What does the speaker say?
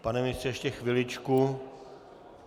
Pane ministře, ještě chviličku...